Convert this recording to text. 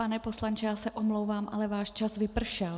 Pane poslanče, já se omlouvám, ale váš čas vypršel.